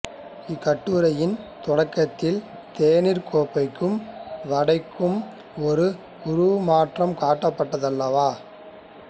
இக்கட்டுரையின் தொடக்கத்தில் தேனீர் கோப்பைக்கும் வடைக்கும் ஒரு உருமாற்றம் காட்டப்பட்டதல்லவா